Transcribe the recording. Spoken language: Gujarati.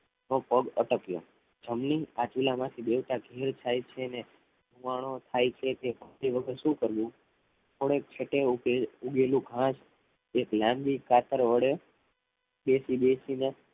માં પગ અટક્યા થમલી આ ચૂલામાંથી દેવતા ગીર થાય છે અને હુવાડો થાય છે તે વખત શું કરવું થોડીક ક્ષતે જે ઉઘેલું ઘાસ એક લાંબી કાતર વડે બેસી બેસીને